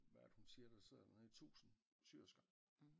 Hvad er det hun siger der sidder der nede 1000 syersker